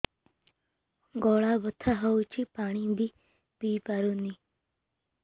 ଗଳା ବଥା ହଉଚି ପାଣି ବି ପିଇ ପାରୁନି